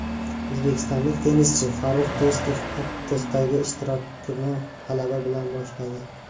O‘zbekistonlik tennischi Farrux Do‘stov Aptosdagi ishtirokini g‘alaba bilan boshladi.